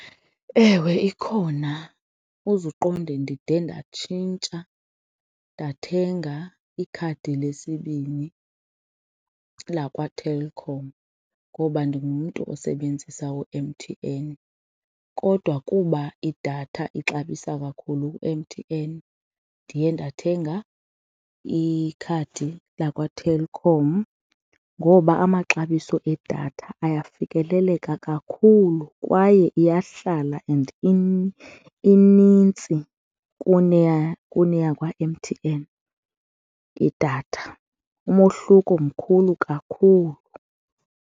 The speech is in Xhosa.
Ewe, ikhona. Uze uqonde ndide ndatshintsha ndathenga ikhadi lesibini lakwaTelkom ngoba ndingumntu osebenzisa u-M_T_N kodwa kuba idatha ixabisa kakhulu u-M_T_N, ndiye ndathenga ikhadi lakwaTelkom ngoba amaxabiso edatha ayafikeleleka kakhulu kwaye iyahlala and inintsi kuneya kwa-M_T_N idatha, umohluko mkhulu kakhulu.